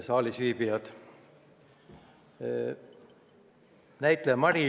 Saalis viibijad!